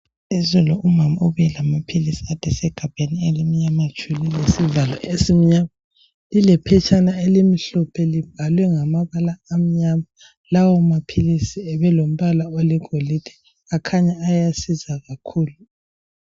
Izolo umama ubuye lamaphilisi adesegabheni elimnyama tshu lilesivalo esimnyama. Lilephetshana elimhlophe libhalwe ngamabala amnyama. Lawo maphilisi abelombala wegolide. Akhanya ayasiza kakhulu.